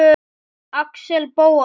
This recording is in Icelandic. Axel Bóasson